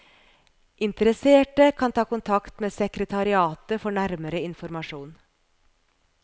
Interesserte kan ta kontakt med sekretariatet for nærmere informasjon.